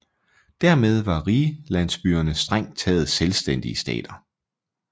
Dermed var rigslandsbyerne strengt taget selvstændige stater